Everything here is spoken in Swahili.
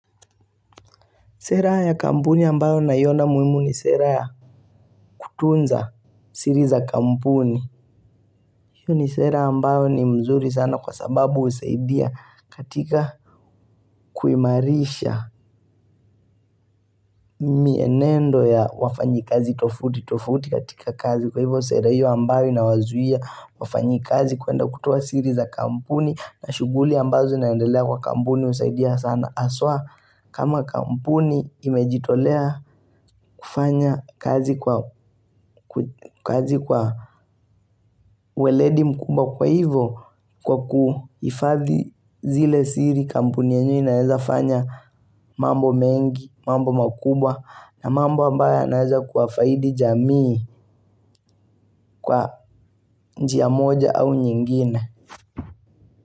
Sera ya kampuni ambayo naiona muimu ni sera ya kutunza siri za kampuni. Hiyo ni sera ambayo ni mzuri sana kwa sababu usaidia katika kuimarisha mienendo ya wafanyi kazi tofauti tofauti katika kazi. Kwa hivyo sera hiyo ambayo inawazuia wafanyi kazi kuenda kutoa siri za kampuni na shuguli ambazo inaendelea kwa kampuni usaidia sana. Aswa kama kampuni imejitolea kufanya kazi kwa uweledi mkubwa kwa hivo kwa kuifadhi zile siri kampuni yenyewe inaeza fanya mambo mengi, mambo makubwa na mambo ambayo yanaeza kuwafaidi jamii kwa njia moja au nyingine.